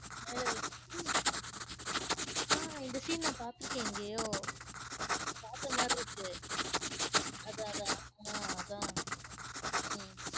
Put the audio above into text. மேலலா~ ஆஹ் இந்த scene நான் பார்த்திருக்கேன் எங்கேயோ பார்த்த மாறிருக்கு. அதா அதான் ஆஹ் அதா உம்